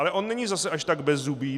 Ale on není zase až tak bezzubý.